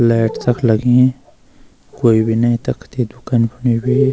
लैट तख लगीं कोई भी नयी तख ते दुकनी फुने भी।